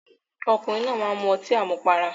Ọkùnrin náà máá ń mu ọtí àmupara